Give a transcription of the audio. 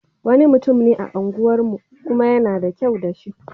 Wani mutum ne a unguwarmu, kuma yana da kyau da shi.